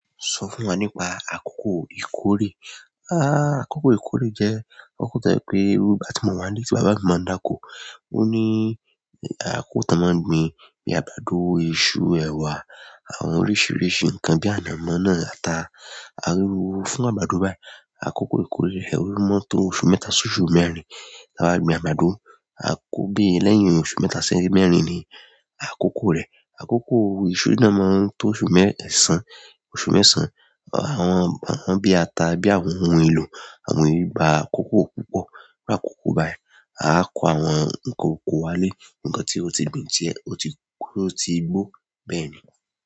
Sọ fún wa nípa àkókò ìkórè. Àkókò yì kólè jẹ́ akọ́kọ́ to jẹ́ pé irú ìgbà tí mo wá ń lé tí bàbá mi máa ń dákó. Ó ní àkókò tan máa ń gbin bíi àgbàdo, iṣu, ẹwà àwọn oríṣiiríṣii nǹkan bí i ànàmọ́ náà àta. Aríru fún àgbàdo báyìí. Àkókò ìkórè, ẹwà mọ́ tó oṣù mẹ́ta sí oṣù mẹ́rin ti a ba gbin àgbàdo. Àkókò pé iyen lẹ́yìn oṣù mẹ́ta sí mẹ́rin ni àkókò rẹ̀. Àkókò iṣu náà máa ń tó oṣù mẹ́ẹ̀sán, oṣù mẹ́sàn-án. Àwọn, àwọn bí i ata, bí i àwọn ohun èlò, àwọn e gba àkókò púpọ̀. Iru àkókò báyìí, a kó àwọn ǹnkan oko wálé, nǹkan tí o ti gbìn diẹ, o tí, ó ti gbó bẹ́ẹ̀ ni.